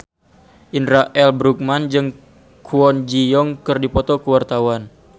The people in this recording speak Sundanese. Indra L. Bruggman jeung Kwon Ji Yong keur dipoto ku wartawan